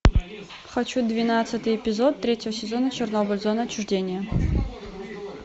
хочу двенадцатый эпизод третьего сезона чернобыль зона отчуждения